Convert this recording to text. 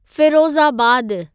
फ़िरोज़ाबादु